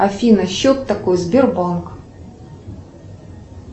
афина счет такой сбербанк